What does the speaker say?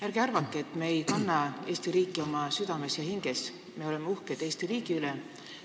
Ärge arvake, et me ei kanna Eesti riiki oma südames ja hinges – me oleme uhked Eesti riigi üle!